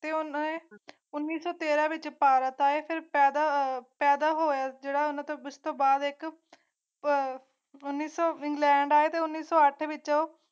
ਪਿਓ ਨੇ ਕੀਤਾ ਉਣੀ ਸੋ ਤੇਰਾਂ ਵਿੱਚ ਭਾਰਤ ਆਏ ਪੈਦਾ ਹੋਇਆ ਵਿਵਾਦ ਤੇ ਉਸ ਤੋਂ ਬਾਅਦ ਹੈ ਭਾਰਤ ਇਹ ਤਾਂ ਇੰਗਲੈਂਡ ਆਏ ਤੇ ਉਣੀ ਸੋ ਵਾਈਟ ਵਿਚ ਉਹ